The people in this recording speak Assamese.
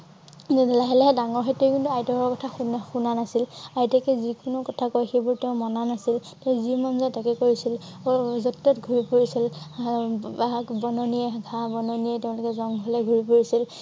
লাহে লাহে ডাঙৰ হৈ তেওঁ কিন্তু আইতাকৰ কথা শুনা শুনা নাছিল। আইতাকে যিকোনো কথা কয় সেইবোৰ তেওঁ মনা নাছিল। তেওঁ যি মন জাই তাকে কৰিছিল । অ~অ যত তত ঘূৰি ফুৰিছিল। আ~ আহ বাঘ বননিয়ে ঘাঁ বননিয়ে তেওঁলোকে জংঘলে ঘূৰি ফুৰিছিল।